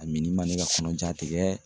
A min man ne ka kɔnɔja tigɛ